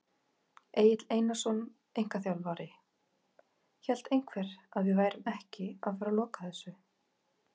Egill Einarsson, einkaþjálfari: Hélt einhver að við værum ekki að fara loka þessu!?